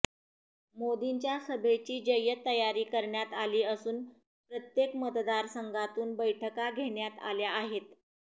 मोदींच्या सभेची जय्यत तयारी करण्यात आली असून प्रत्येक मतदारसंघातून बैठका घेण्यात आल्या आहेत